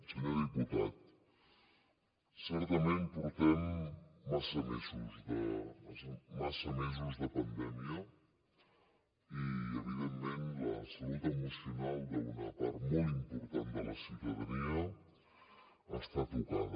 senyor diputat certament portem massa mesos de pandèmia i evidentment la salut emocional d’una part molt important de la ciutadania està tocada